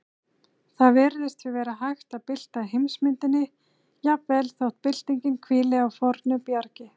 Það virðist því vera hægt að bylta heimsmyndinni, jafnvel þótt byltingin hvíli á fornu bjargi.